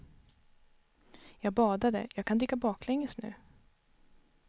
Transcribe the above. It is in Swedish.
Jag badade, jag kan dyka baklänges nu.